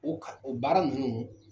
O kalan o baara ninnu